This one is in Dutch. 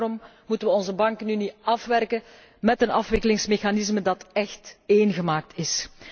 Daarom moeten we onze bankenunie afwerken met een afwikkelingsmechanisme dat echt ééngemaakt is.